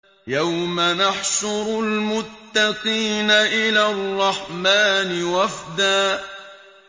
يَوْمَ نَحْشُرُ الْمُتَّقِينَ إِلَى الرَّحْمَٰنِ وَفْدًا